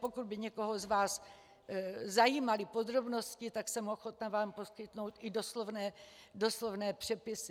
Pokud by někoho z vás zajímaly podrobnosti, tak jsem ochotna vám poskytnout i doslovné přepisy.